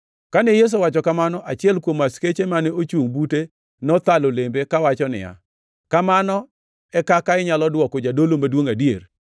Kane Yesu owacho kamano, achiel kuom askeche mane ochungʼ bute nothalo lembe kawacho niya, “Kamano e kaka inyalo dwoko jadolo maduongʼ adier?”